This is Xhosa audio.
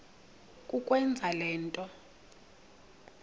kukwenza le nto